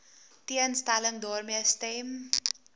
teenstelling daarmee stem